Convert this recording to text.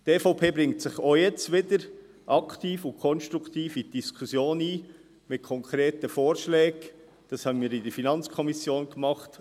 Die EVP bringt sich auch jetzt wieder aktiv und konstruktiv mit konkreten Vorschlägen in die Diskussion ein.